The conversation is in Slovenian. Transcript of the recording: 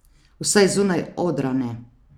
Vsaj zunaj odra ne.